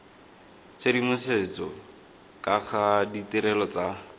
tshedimosetso ka ga ditirelo tsa